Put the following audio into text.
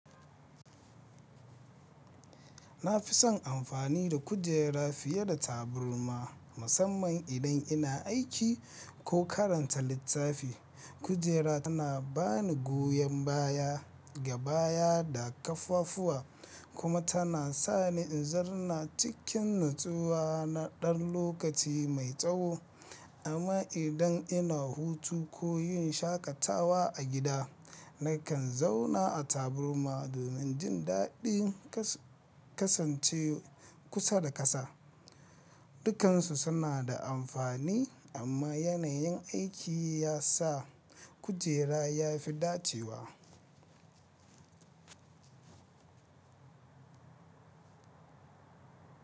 Na fi son amfani da kujera fiye da taburma musamman idan ina aiki ko karanta littafi. Kujera tana bani goyon baya, gabaya da ƙaffafuwa kuma tana sa ni in zarna cikin nutsuwa na ɗan lokaci mai tsawo. Amma idan ina hutu ko yin shaƙatawa a gida, nakan zauna a taburma domin jin daɗin kasance kusa da ƙasa. Dukansu suna da amfani amma yanayin aiki ya sa kujera ya fi dacewa.